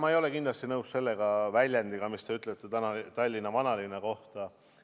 Ma ei ole kindlasti nõus selle väljendiga, mida te kasutasite tänase Tallinna vanalinna kohta.